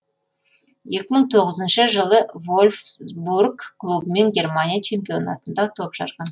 екі мың тоғызыншы жылы вольфсбрг клубымен германия чемпионатында топ жарған